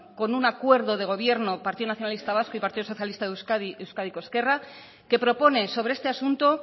con un acuerdo de gobierno partido nacionalista vasco y partido socialista de euskadi euskadiko ezkerra que propone sobre este asunto